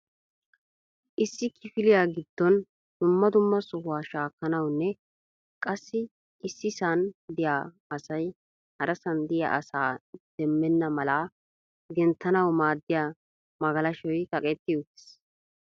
issi kifiliyaa giddon dumma dumma sohuwaa shaakkanawunne qassi issisan diya asay harassan diyaa asaa demmena malaa genttanaw maaddiya magalashshoy kaqqetti uttiis.